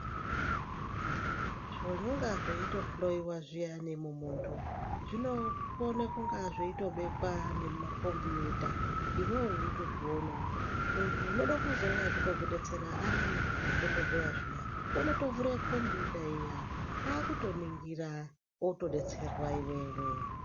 Zvinonga zveitohloyiwa zviyani mumunthu zvinokona kunga zveitobekwa nemukombiyuta iwewe weitozvionawo muntu unenge eida kuzouya eikudetsera ari dhokodheya zviya unotovhura kombiyuta iya kwakutoningira wotodetsera iwewe.